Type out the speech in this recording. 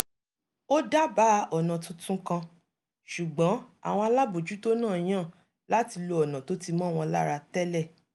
ó dábàá ọ̀nà tuntun kan ṣùgbọ́n àwọn alábòójútó náà yàn láti lo ọ̀nà tó ti mọ́ wọn lára tẹ́lẹ̀